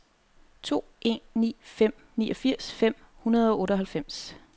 to en ni fem niogfirs fem hundrede og otteoghalvfems